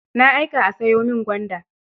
Na aika a sayo min gwanda.